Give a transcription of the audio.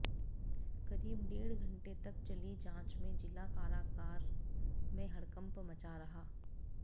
करीब डेढ घंटे तक चली जांच में जिला कारागार में हड़कंप मचा रहा